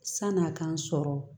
San'a k'an sɔrɔ